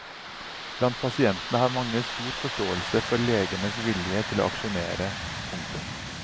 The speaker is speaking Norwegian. Blant pasientene har mange stor forståelse for legenes vilje til å aksjonere. punktum